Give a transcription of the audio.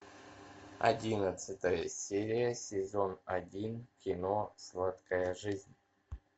одиннадцатая серия сезон один кино сладкая жизнь